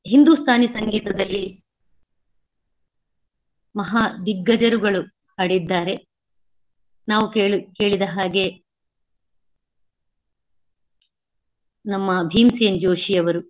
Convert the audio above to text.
ಹಿಂದೂಸ್ಥಾನಿ ಸಂಗೀತದಲ್ಲಿ ಮಹಾ ದಿಗ್ಗಜರುಗಳು ಹಾಡಿದ್ದಾರೆ. ನಾವು ಕೇಳಿ~ ಕೇಳಿದ ಹಾಗೆ ನಮ್ಮ ಭೀಮ್ಸೇನ್ ಜೋಷಿಯವರು.